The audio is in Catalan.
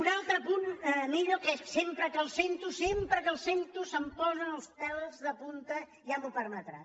un altre punt millo que és sempre que el sento sem·pre que el sento se’m posen els pèls de punta ja m’ho permetrà